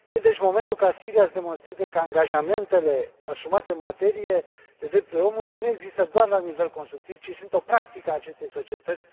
E deci momentul ca Siria să demonstreze că angajamentele asumate în materie de drepturile omului nu există doar la nivel constructiv, ci sunt o practică a acestei societăți.